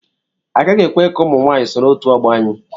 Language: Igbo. Agaghị ekwe ka ụmụ nwaanyị soro otu ọgbọ anyị.